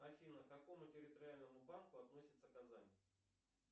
афина к какому территориальному банку относится казань